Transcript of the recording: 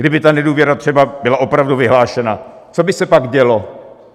Kdyby ta nedůvěra třeba byla opravdu vyhlášena, co by se pak dělo?